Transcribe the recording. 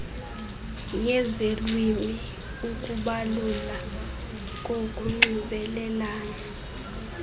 yezelwimi ukubalula kokunxibelelana